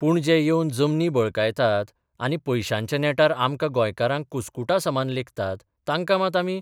पूण जे येवन जमनी बळकायतात आनी पयशांच्या नेटार आमकां गोंयकारांक कुस्कुटासमान लेखतात तांकां मात आमी